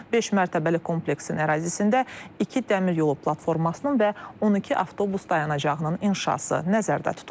Beşmərtəbəli kompleksin ərazisində iki dəmir yolu platformasının və 12 avtobus dayanacağının inşası nəzərdə tutulub.